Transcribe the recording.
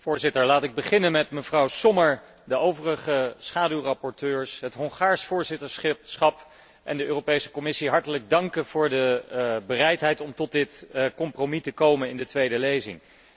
Voorzitter, om te beginnen wil ik mevrouw Sommer, de overige schaduwrapporteurs, het Hongaars voorzitterschap en de Europese Commissie hartelijk danken voor de bereidheid om tot dit compromis te komen in de tweede lezing.